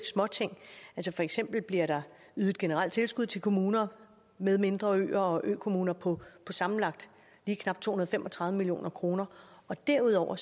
småting for eksempel bliver der ydet generelt tilskud til kommuner med mindre øer og til økommuner på sammenlagt lige knap to hundrede og fem og tredive million kroner derudover